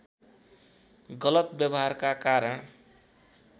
गलत व्यवहारका कारण